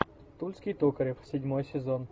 тульский токарев седьмой сезон